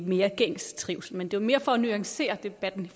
mere gængs trivsel men det var mere for at nuancere debatten